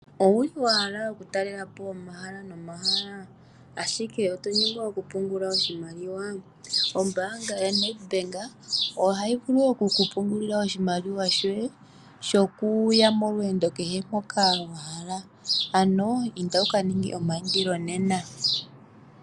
Owu li wa hala okutalelapo omahala nomahala ashike oto nyengwa okupungula oshimaliwa? Ombanga yoNed Bank oha yi vulu okukupungulila oshimaliwa shoye shokuya molweendo kehe moka ano inda wu ka ninge omayindilo nena.